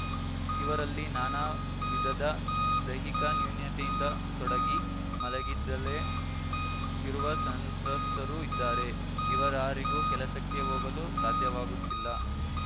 ಇವರಲ್ಲಿ ನಾನಾ ವಿಧದ ದೈಹಿಕ ನ್ಯೂನತೆಯಿಂದ ತೊಡಗಿ ಮಲಗಿದ್ದಲ್ಲೇ ಇರುವ ಸಂತ್ರಸ್ತರೂ ಇದ್ದಾರೆ ಇವರಾರಿಗೂ ಕೆಲಸಕ್ಕೆ ಹೋಗಲು ಸಾಧ್ಯವಾಗುತ್ತಿಲ್ಲ